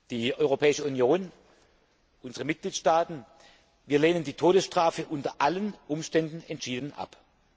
Die Europäische Union und unsere Mitgliedstaaten lehnen die Todesstrafe unter allen Umständen entschieden ab.